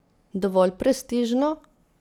Dovolj prestižno?